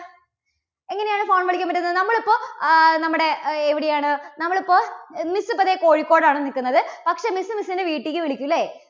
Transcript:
എങ്ങനെയാണ് phone വിളിക്കാൻ പറ്റുന്നത്? നമ്മളിപ്പോൾ അഹ് നമ്മുടെ എവിടെയാണ്, നമ്മളിപ്പോൾ miss ഇപ്പോൾ ദേ കോഴിക്കോട് ആണ് നിൽക്കുന്നത്, പക്ഷേ miss, miss ന്റെ വീട്ടിലേക്ക് വിളിക്കും ഇല്ലേ?